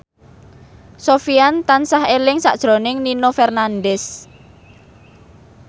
Sofyan tansah eling sakjroning Nino Fernandez